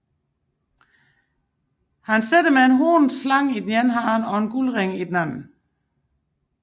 Han sidder med en hornet slange i den ene hånd og en guldhalsring i den anden